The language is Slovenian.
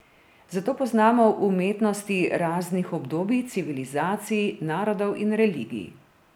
Zato poznamo umetnosti raznih obdobij, civilizacij, narodov in religij.